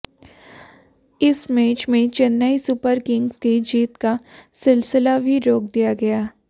इस मैच में Chennai super kings की जीत का सिलसिला भी रोक दिया गया